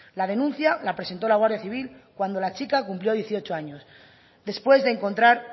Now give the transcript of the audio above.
la denuncia la presentó la guardia civil cuando la chica cumplió dieciocho años después de encontrar